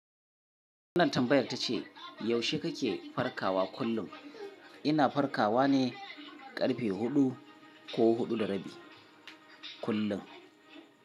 Wannan tambayar ta ce yaushe ka ke farkawa kullum? Ina farkawa ne ƙarfe huɗu ko huɗu da rabi kullum.